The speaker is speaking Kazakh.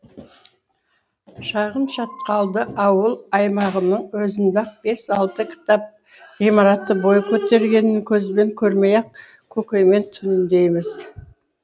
шағын шатқалды ауыл аймағының өзінде ақ бес алты кітап ғимараты бой көтергенін көзбен көрмей ақ көкеймен түйіндейміз